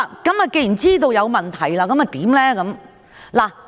既然知道有問題，那麼應如何處理？